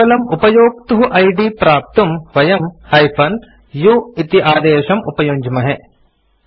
केवलम् उपयोक्तुः इद् प्राप्तुं वयम् - u इति आदेशम् उपयुञ्ज्महे